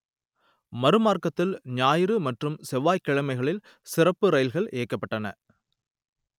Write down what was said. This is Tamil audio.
மறுமார்க்கத்தில் ஞாயிறு மற்றும் செவ்வாய்க்கிழமைகளில் சிறப்பு ரயில்கள் இயக்கப்பட்டன